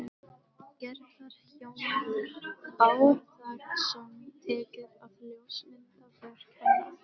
Gerðar, Hjálmar Bárðarson, tekið að ljósmynda verk hennar.